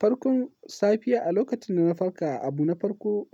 Farkon safiya a lokacin da na farka, abu na farko